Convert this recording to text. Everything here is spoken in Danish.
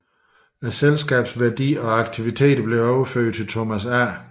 Selskabets værdier og aktiviteter blev overført til Thomas A